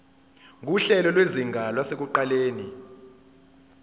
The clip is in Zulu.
nguhlelo lwezinga lasekuqaleni